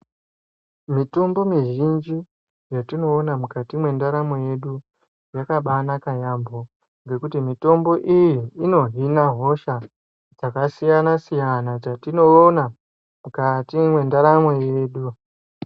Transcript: Mitombo mizhinji yetinoona mukati mwendaramo yedu, yakabaanaka yaamho ngekuti mitombo iyi inohina hosha dzakasiyana-siyana dzetinoona, mukati mwendaramo yedu.